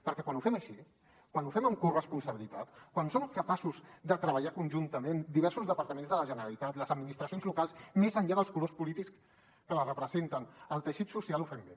perquè quan ho fem així quan ho fem amb corresponsabilitat quan som capaços de treballar conjuntament diversos departaments de la generalitat les administracions locals més enllà dels colors polítics que les representen i el teixit social ho fem bé